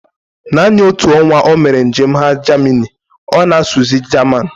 Naanị otu ọnwa omere njem ha Jamini, ọ na-asuzi Jaman